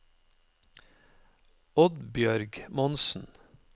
Oddbjørg Monsen